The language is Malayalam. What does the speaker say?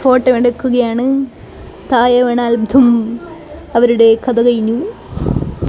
ഫോട്ടോ എടുക്കുകയാണ് താഴെ വീണാൽ ദും അവരുടെ കഥ കഴിഞ്ഞു.